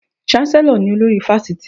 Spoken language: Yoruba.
Cháńsẹ́lọ̀ ni olórí Fáṣítì.